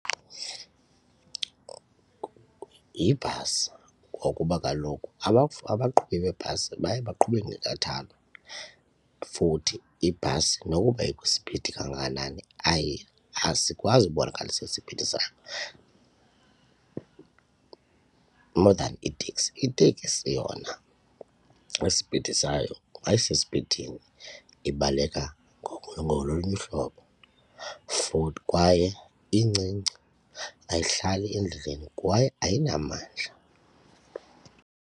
Yibhasi ngokuba kaloku abaqhubi beebhasi baye baqhube ngenkathalo futhi ibhasi nokuba ikwispidi kangakanani asikwazi ubonakalisa esisiphithi sayo more than iteksi. Iteksi yona isipidi sayo xa isesipidini ibaleka ngolunye uhlobo futhi kwaye incinci ayihlali endleleni kwaye ayinamandla.